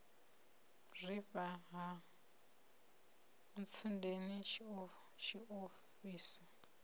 u zwifha ha ntsundeni tshiofhiso